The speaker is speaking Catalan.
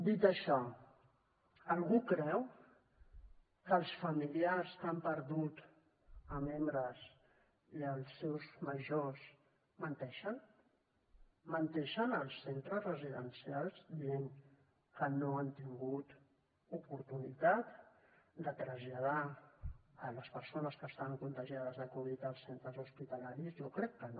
dit això algú creu que els familiars que han perdut a membres i als seus grans menteixen menteixen els centres residencials dient que no han tingut oportunitat de traslladar les persones que estaven contagiades de covid als centres hospitalaris jo crec que no